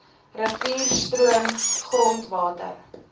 rivier stroom grondwater